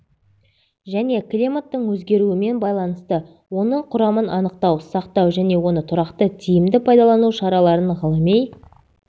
және климаттың өзгеруімен байланысты оның құрамын анықтау сақтау және оны тұрақты тиімді пайдалану шараларын ғылыми